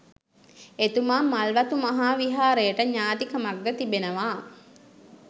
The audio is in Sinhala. එතුමා මල්වතු මහා විහාරයට ඥාතිකමක්ද තිබෙනවා